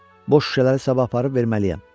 Boş şüşələri sabah aparıb verməliyəm.